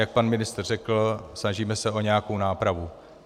Jak pan ministr řekl, snažíme se o nějakou nápravu.